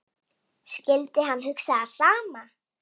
Skyldi hann hugsa það sama?